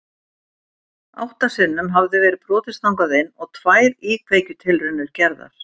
Átta sinnum hafði verið brotist þangað inn og tvær íkveikjutilraunir gerðar.